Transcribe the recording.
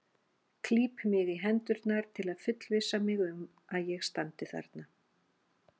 Klíp mig í hendurnar til að fullvissa mig um að ég standi þarna.